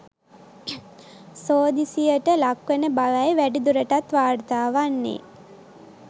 සෝදිසියට ලක්වන බවයි වැඩි දුරටත් වාර්තාවන්නේ.